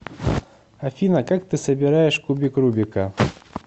афина как ты собираешь кубик рубика